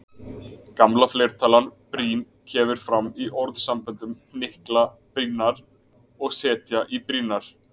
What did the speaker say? Gamla fleirtalan brýn kemur fram í orðasamböndunum hnykla brýnnar og setja í brýnnar.